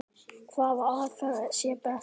Hvaða aðferð sé best.